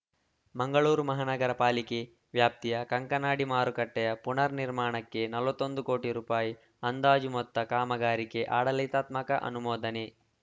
ಮಂಗಳೂರು ಮಹಾನಗರ ಪಾಲಿಕೆ ವ್ಯಾಪ್ತಿಯ ಕಂಕನಾಡಿ ಮಾರುಕಟ್ಟೆಯ ಪುನರ್‌ ನಿರ್ಮಾಣಕ್ಕೆ ನಲವತ್ತ್ ಒಂದು ಕೋಟಿ ರುಪಾಯಿ ಅಂದಾಜು ಮೊತ್ತ ಕಾಮಗಾರಿಗೆ ಆಡಳಿತಾತ್ಮಕ ಅನುಮೋದನೆ